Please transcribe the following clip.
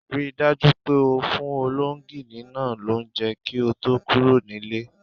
Ri dájú pé o fún ológìní náa lounje kí o to kúro nílé